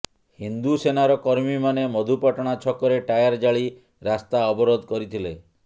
ହିନ୍ଦୁ ସେନାର କର୍ମୀମାନେ ମଧୁପାଟଣା ଛକରେ ଟାୟାର ଜାଳି ରାସ୍ତା ଅବରୋଧ କରିଥିଲେ